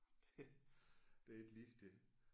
Det det er ikke ligetil